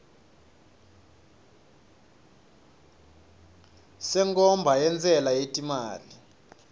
senkhomba yentsela yetimali